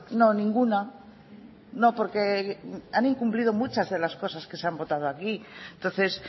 no ninguna no porque han incumplido muchas de las cosas que se han votado aquí entonces